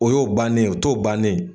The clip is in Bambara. O y'o bannen,o t'o bannen.